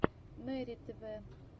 мэри тв